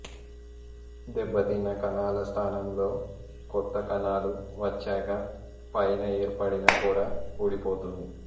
దెబ్బతిన్న కణాల స్థానంలో కొత్త కణాలు వచ్చాక పైన ఏర్పడిన పొర ఊడిపోతుంది